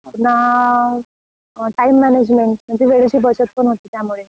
पुन्हा time management, म्हणजे वेळेची बचत पण होते त्यामुळे.